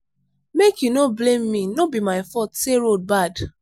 make you no blame me no be my fault say road bad